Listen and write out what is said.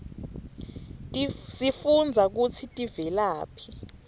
sifunbza kutsi tiveladhi